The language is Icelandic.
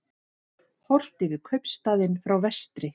Horft yfir kaupstaðinn frá vestri.